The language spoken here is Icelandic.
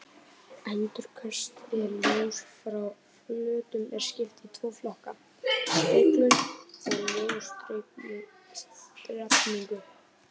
Endurkasti ljóss frá flötum er skipt í tvo flokka: speglun og ljósdreifingu.